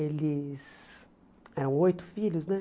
Eles eram oito filhos, né?